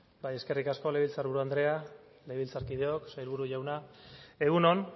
bai eskerrik asko legebiltzar buru andrea legebiltzarkideok sailburu jauna egun on